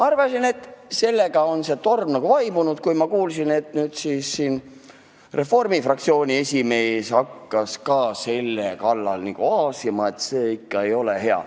Arvasin, et sellega on torm vaibunud, aga kuulsin, et Reformierakonna fraktsiooni esimees hakkas ka selle kallal nagu aasima – see ikka ei ole hea.